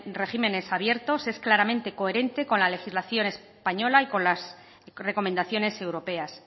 regímenes abiertos es claramente coherente con la legislación española y con las recomendaciones europeas